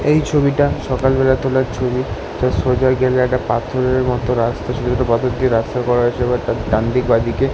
সেই ছবিটা সকাল বেলা তোলা ছবি। সোজা গেলে একটা পাথরের মতো রাস্তা ছোট ছোট পাথর দিয়ে রাস্তা করা আছে এবং তার ডানদিক বাঁদিকে --